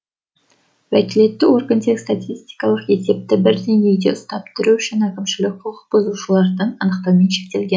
уәкілетті орган тек статистикалық есепті бір деңгейде ұстап тұру үшін әкімшілік құқықбұзушыларды анықтаумен шектелген